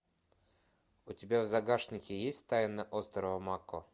у тебя в загашнике есть тайны острова мако